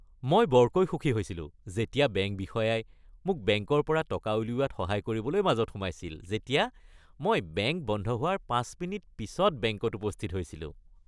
মই বৰকৈ সুখী হৈছিলো যেতিয়া বেংক বিষয়াই মোক বেংকৰ পৰা টকা উলিওৱাত সহায় কৰিবলৈ মাজত সোমাইছিল যেতিয়া মই বেংক বন্ধ হোৱাৰ ৫ মিনিট পিছত বেংকত উপস্থিত হৈছিলো।